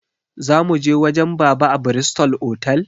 Zamuje wajen baba a bristol otal?